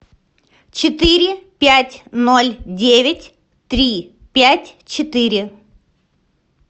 четыре пять ноль девять три пять четыре